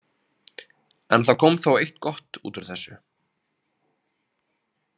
En það kom þó eitt gott út úr þessu.